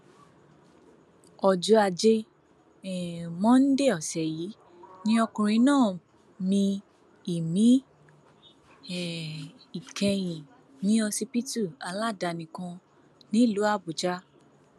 ọjọ ajé um monde ọsẹ yìí ni ọkùnrin náà mí ìmí um ìkẹyìn ní ọsibítù aládàáni kan nílùú àbújá